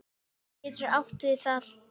Vísir getur átt við